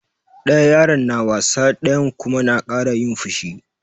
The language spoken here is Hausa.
Ɗaya yaron na wasa ɗayan kuma na kara yin fushi.